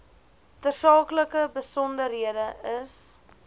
tersaaklike besonderhede is